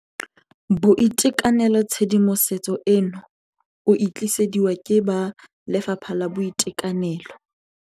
BOITEKANELOTshedimosetso eno o e tlisediwa ke ba Lefapha la Boitekanelo.